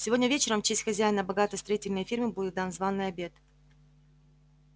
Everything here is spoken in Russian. сегодня вечером в честь хозяина богатой строительной фирмы будет дан званый обед